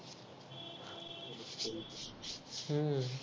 हम्म